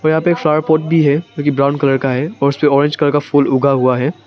और यहां पर एक फ्लावर पॉट भी है ब्राउन कलर का है और उसके ऑरेंज कलर का फूल उगा हुआ है।